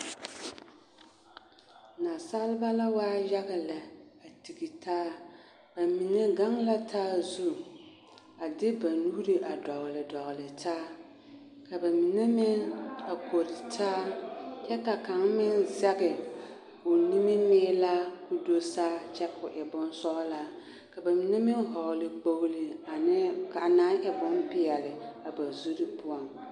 Naasalba la waa yaga lɛ a tigi taa ba mime gaŋ la taa zu a de ba nuuri a dogli dogli taa ka ba mine meŋ a kore taa kyɛ ka kaŋ meŋ zɛge o nimimiilaa koo do saa kyɛ ka o e bonsɔglaa ka ba mine meŋ hɔɔli kpogli ane anaa e peɛli ba zuri poɔŋ.